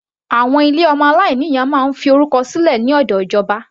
Àwọn ilé ọmọ aláìní ìyá máa ń fi orúkọ sílẹ̀ lọ́dọ̀ ìjọba.